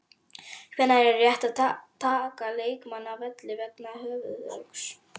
Hvenær er rétt að taka leikmann af velli vegna höfuðhöggs?